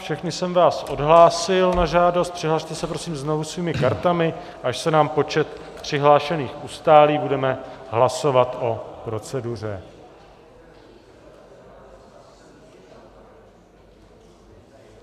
Všechny jsem vás odhlásil na žádost, přihlaste se prosím znovu svými kartami, až se nám počet přihlášených ustálí, budeme hlasovat o proceduře.